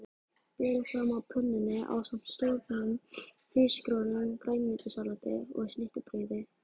Berið fram á pönnunni ásamt soðnum hrísgrjónum, grænmetissalati og snittubrauði.